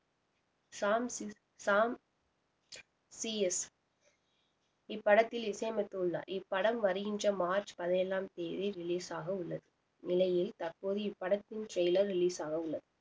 Sham C Sam C S இப்படத்தில் இசையமைத்துள்ளார் இப்படம் வருகின்ற மார்ச் பதினேழாம் தேதி release ஆக உள்ளது இந்நிலையில் தற்போது இப்படத்தின் trailer release ஆக உள்ளது